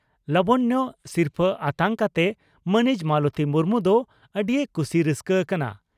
ᱞᱟᱵᱚᱱᱭᱚ ᱥᱤᱨᱯᱷᱟᱹ ᱟᱛᱟᱝ ᱠᱟᱛᱮ ᱢᱟᱹᱱᱤᱡ ᱢᱟᱞᱚᱛᱤ ᱢᱩᱨᱢᱩ ᱫᱚ ᱟᱹᱰᱤᱭ ᱠᱩᱥᱤ ᱨᱟᱹᱥᱠᱟᱹ ᱟᱠᱟᱱᱟ ᱾